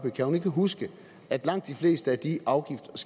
ikke kan huske at langt de fleste af de afgifts og